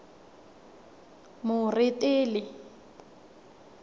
moretele